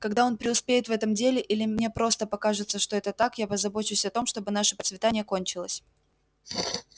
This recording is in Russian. когда он преуспеет в этом деле или мне просто покажется что это так я позабочусь о том чтобы наше процветание кончилось